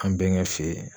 An bɛnkɛ fe yen